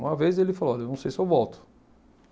Uma vez ele falou, olha, não sei se eu volto.